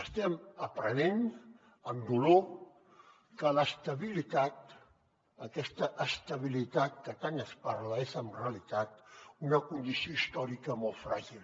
estem aprenent amb dolor que l’estabilitat aquesta estabilitat de què tant es parla és en realitat una condició històrica molt fràgil